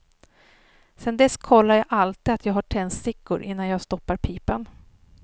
Sen dess kollar jag alltid att jag har tändstickor innan jag stoppar pipan.